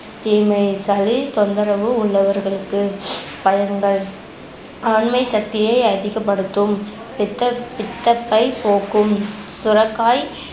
தீமை சளி தொந்தரவு உள்ளவர்களுக்கு பயன்கள் ஆண்மை சக்தியை அதிகப்படுத்தும் பித்த~ பித்தப்பை போக்கும் சுரக்காய்